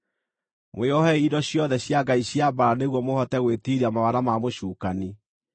Mwĩohei indo ciothe cia Ngai cia mbaara nĩguo mũhote gwĩtiiria mawara ma mũcukani.